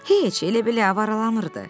Heç elə-belə avaralanırdı.